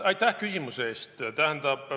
Aitäh küsimuse eest!